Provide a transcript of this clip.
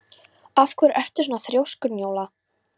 Af hverju ertu svona þrjóskur, Njóla?